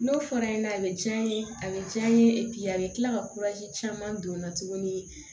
N'o fɔra ɲɛna a bɛ diya n ye a bɛ diya n ye a bɛ kila ka caman don n na tuguni